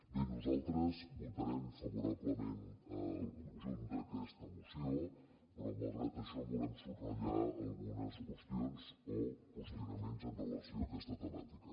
bé nosaltres votarem favorablement el conjunt d’aquesta moció però malgrat això volem subratllar algunes qüestions o qüestionaments en relació amb aquesta temàtica